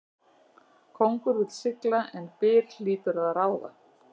Kóngur vill sigla en byr hlýtur að ráða.